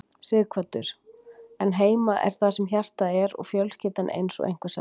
Sighvatur: En heima er þar sem hjartað er og fjölskyldan eins og einhver sagði?